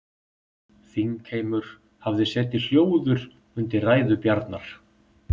Þingheimur hafði setið hljóður undir ræðu Bjarnar.